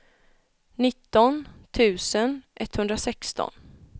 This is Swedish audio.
nitton tusen etthundrasexton